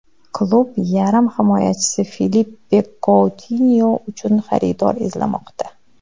Klub yarim himoyachi Filippe Koutinyo uchun xaridor izlamoqda.